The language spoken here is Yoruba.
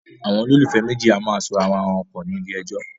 Àwọn olólùfẹ́ méjì a máa so ara wọn pọ̀ ní ilé ẹjọ́